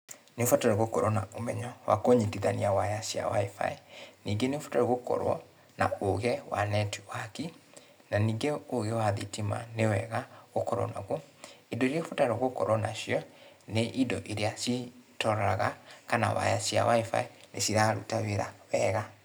Nĩ ũbataire gũkorwo na ũmenyo wa kũnyitithania waya cia wifi. Ningĩ nĩ ũbataire gũkorwo na ũũgĩ wa network na ningĩ ũũgĩ wa thitima nĩ wega ũkorwo naguo. Indo ĩrĩa ũbataire gũkorwo nacio, nĩ indo ĩrĩa ciroraga kana waya cia wifi nĩ iraruta wĩra wega.